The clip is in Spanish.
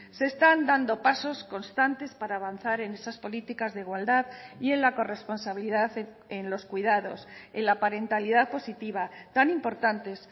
se están dando pasos constantes para avanzar en esas políticas de igualdad y en la corresponsabilidad en los cuidados en la parentalidad positiva tan importantes